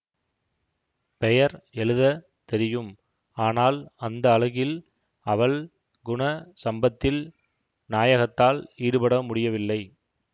பெயர் எழுதத் தெரியும் ஆனால் அந்த அழகில் அவள் குண சம்பத்தில் நாயகத்தால் ஈடுபட முடியவில்லை